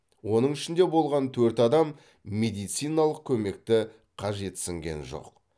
оның ішінде болған төрт адам медициналық көмекті қажетсінген жоқ